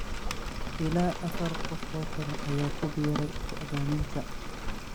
Ilaa afar qof oo kale ayaa ku biiray go'doominta.